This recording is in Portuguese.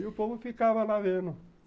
E o povo ficava lá vendo.